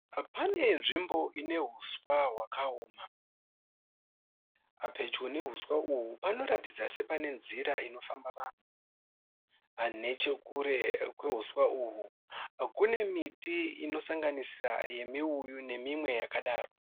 Pane nzvimbo ine huswa hwakaoma. Pedyo nehuswa uhu panoratidza sepane nzira inofamba vanhu. Nechekure kwehuswa uhu kune miti inosanganisira yemuuyu ne imwe yakadaro